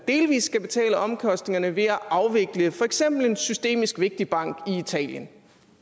delvis skal betale omkostningerne ved at afvikle for eksempel en systemisk vigtig bank i italien